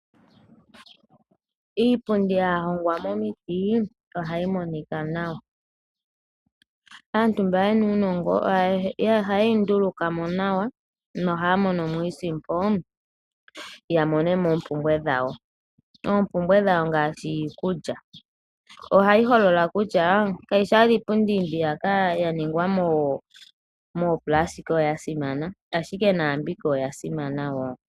Iipundi ya hongwa momiti ohayi monika nawa. Aantu mba ye na uunongo ohaye yi nduluka mo nawa nohaya mono mo iisimpo ya kandule po oompumbwe dhawo, ngaashi iikulya. Ohayi holola kutya kayi shi owala iipundi mbiyaka ya ningwa moopulasitika oyo ya simana, ashike naambika oya simana wo.